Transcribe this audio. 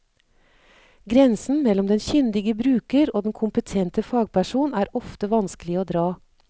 Grensen mellom den kyndige bruker og den kompetente fagperson er ofte vanskelig å dra.